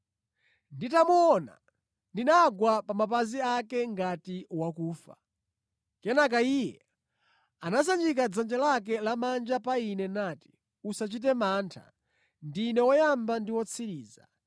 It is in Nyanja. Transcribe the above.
Nditamuona ndinagwa pa mapazi ake ngati wakufa. Kenaka Iye anasanjika dzanja lake lamanja pa ine nati, “Usachite mantha. Ndine Woyamba ndi Wotsiriza.